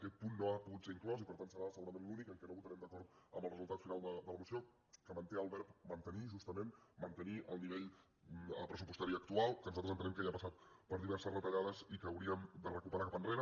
aquest punt no ha pogut ser inclòs i per tant serà segurament l’únic en què no votarem d’acord amb el resultat final de la moció que manté el verb mantenir justament mantenir el nivell pressupostari actual que nosaltres entenem que ja ha passat per diverses retallades i que hauríem de recuperar cap enrere